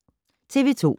TV 2